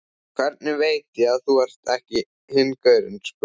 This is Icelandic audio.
Hvernig veit ég að þú ert ekki hinn gaurinn, spurði